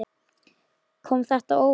Kom þetta á óvart?